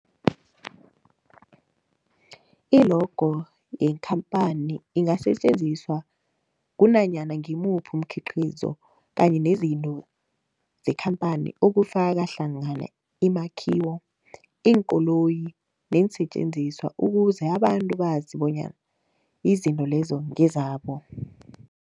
I-logo yekhamphani ingasetjenziswa kunanyana ngimuphi umkhiqizo kanye nezinto zekhamphani okufaka hlangana imakhiwo, iinkoloyi neensentjenziswa ukuze abantu bazi bonyana izinto lezo ngezabo.